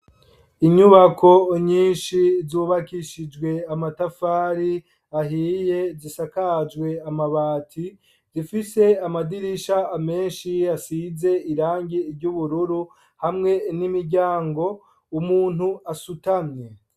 Inyubako nyinshi, zubakishijwe amatafari ahiye, zisakajwe amabati; zifise amadirisha, amenshi asize irangi ry'ubururu, hamwe n'imiryango; umuntu asutamye.